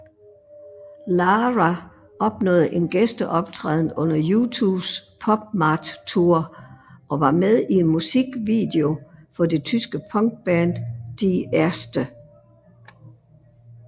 Lara opnåede en gæsteoptræden under U2s PopMart Tour og var med i en musikvideo for det tyske punkband Die Ärzte